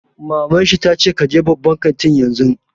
Maman shi ta ce 'Ka je babban kantin yanzu'!